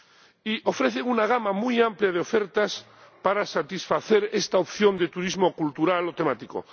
y ofrecen una gama muy amplia de ofertas para satisfacer esta opción de turismo cultural o temático.